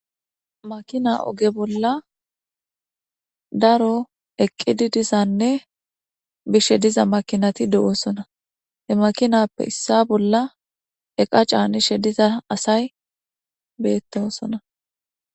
Makina oge bolla daro eqqidi dizanne bishe diza makinati de'oosona he makinappe issa bolla eqa caanishe diza asay beettosona.